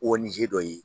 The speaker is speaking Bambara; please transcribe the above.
O nizeri dɔ ye